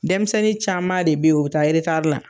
Denmisɛnnin caman de bɛ o bɛ taa la.